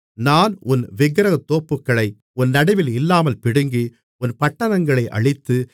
நான் உன் விக்கிரகத்தோப்புகளை உன் நடுவில் இல்லாமல் பிடுங்கி உன் பட்டணங்களை அழித்து